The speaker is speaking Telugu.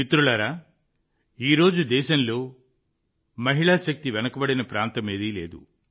మిత్రులారా ఈ రోజు దేశంలో మహిళా శక్తి వెనుకబడిన ప్రాంతం లేదు